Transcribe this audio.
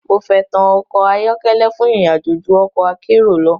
Mo fẹ́tàn ọkọ̀ ayọ́kẹ́lẹ́ fún ìrìn àjò ju ọ̀kọ̀ akérò lọ.